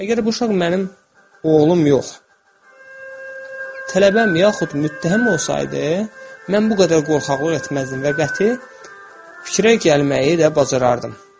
Əgər bu uşaq mənim oğlum yox, tələbəm yaxud müttəhim olsaydı, mən bu qədər qorxaqlıq etməzdim və qəti fikrə gəlməyi də bacarardım.